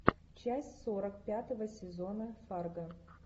часть сорок пятого сезона фарго